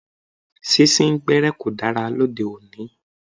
Sín sín gbẹ́ẹ́rẹ́ kò dára ní òde òní.